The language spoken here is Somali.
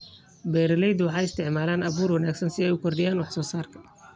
Beeraleydu waxay isticmaalaan abuur wanaagsan si ay u kordhiyaan wax-soo-saarka.